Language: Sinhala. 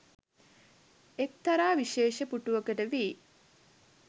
එක්තරා විශේෂ පුටුවකට වී